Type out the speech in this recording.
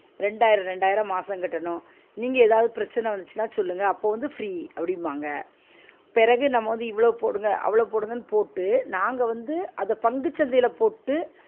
ரெண்டாயிரம் ரெண்டாயிரம் மாசோ கட்டனும் நீங்க ஏதாவது பிரச்சன வந்துச்சினா சொல்லுங்க அப்ப வந்து free அப்பிடிபாங்க பிறகு நம்ம வந்து இவ்ளோ போடுங்க அவ்ளோ போடுங்கன்னு போட்டு நாங்க வந்து அத பங்கு சந்தையில போட்டு